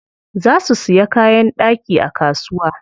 Za su siya kayan ɗaki a kasuwa.